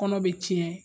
Kɔnɔ be tiɲɛ